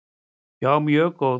Já, mjög góð.